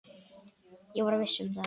Ég var viss um það.